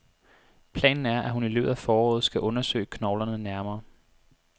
Planen er, at hun i løbet af foråret skal undersøge knoglerne nærmere.